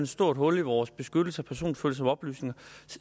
stort hul i vores beskyttelse af personfølsomme oplysninger